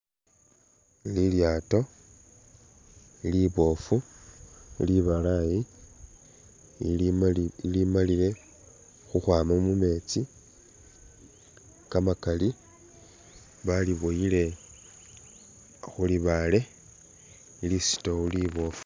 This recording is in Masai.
Lilyaato liboofu libalaayi ilimali ilimalile khukhwama mumeetsi kamakali baliboyile khulibaale lisitowu liboofu.